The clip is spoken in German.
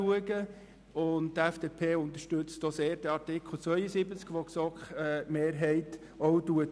Die FDP unterstützt auch sehr den Vorschlag der GSoK-Mehrheit zu Artikel 72.